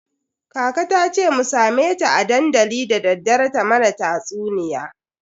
Kaka tace mu same ta a dandali dadaddare ta mana tatsuniya.